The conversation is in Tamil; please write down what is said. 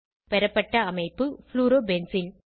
பெறப்பட்ட அமைப்பு ப்ளூரோபென்சீன்